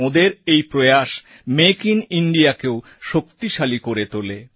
ওঁদের এই প্রয়াস মেক আইএন Indiaকেও শক্তিশালী করে তোলে